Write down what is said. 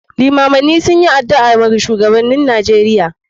Iimamai sunyi adu'a wa shuwagabannin nijeria.